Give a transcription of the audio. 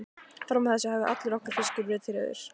Fram að þessu hafði allur okkar fiskur verið tryggður.